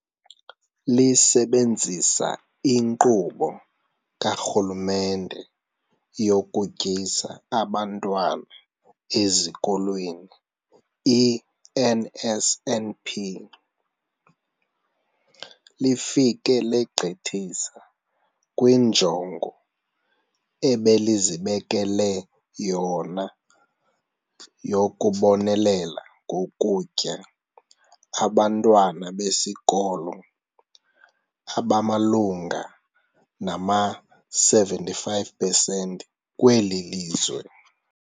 Lisebenzisa iNkqubo kaRhulumente yokuTyisa Abantwana Ezikolweni, i-NSNP, lifike legqithisa kwinjongo ebelizibekele yona yokubonelela ngokutya abantwana besikolo abamalunga nama-75 pesenti kweli lizwe.